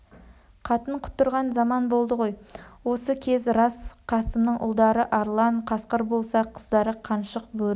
қатын құтырған заман болды ғой осы кез рас қасымның ұлдары арлан қасқыр болса қыздары қаншық бөрі